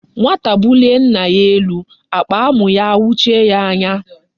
Nwata bulie nna ya elu akpa amu ya ayochie ya anya